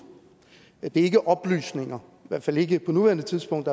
det er ikke oplysninger i hvert fald ikke på nuværende tidspunkt